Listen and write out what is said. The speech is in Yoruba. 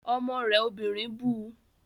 Ọmọ rẹ obìnrin bu